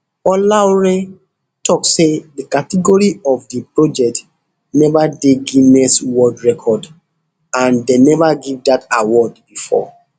olaore tok say di category of di project neva dey guiness world record and dem neva give dat award bifor